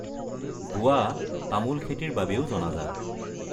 গোৱা তামোল খেতিৰ বাবেও জনাজাত।